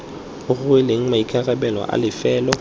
o rweleng maikarabelo a lefelo